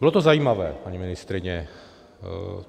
Bylo to zajímavé, paní ministryně.